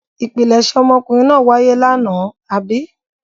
Ìpilẹ̀ṣẹ̀ ọmọkùnrin náà wáyé lánàá, àbí?